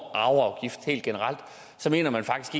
arveafgift helt generelt mener man faktisk